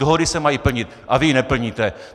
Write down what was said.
Dohody se mají plnit a vy ji neplníte!